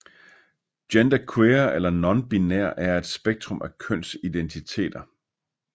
Genderqueer eller nonbinær er et spektrum af kønsidentiteter